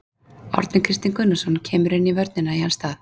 Árni Kristinn Gunnarsson kemur inn í vörnina í hans stað.